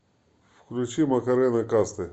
включи макарэна касты